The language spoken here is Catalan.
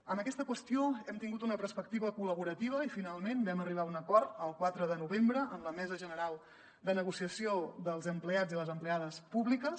en aquesta qüestió hem tingut una perspectiva col·laborativa i finalment vam arribar a un acord el quatre de novembre amb la mesa general de negociació dels empleats i les empleades públiques